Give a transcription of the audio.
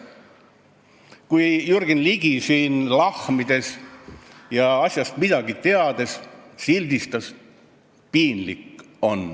Kui Jürgen Ligi siin lahmides ja asjast mitte midagi teades sildistas, oli piinlik.